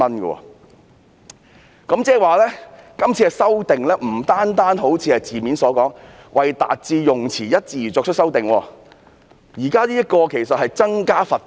換言之，今次修訂不僅好像是字面所說的，"為達致用詞一致而作出的修訂"，現在其實是增加罰款。